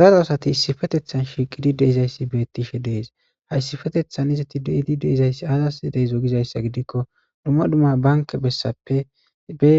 daro asati issifetethan shiiqidi deizayssi beettishe dees hayssifetethan izati deidi deizayssi azas dideyzo gizayssa gidikko dumma dumma banke bessappe be